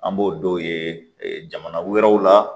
An b'o dɔw ye jamana wɛrɛw la